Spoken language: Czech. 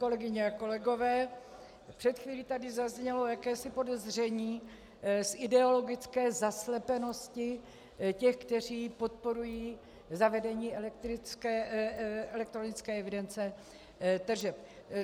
Kolegyně a kolegové, před chvílí tady zaznělo jakési podezření z ideologické zaslepenosti těch, kteří podporují zavedení elektronické evidence tržeb.